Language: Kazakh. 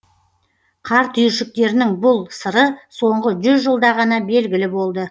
қар түйіршіктерінің бұл сыры соңғы жүз жылда ғана белгілі болды